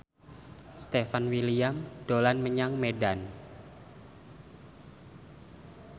Stefan William dolan menyang Medan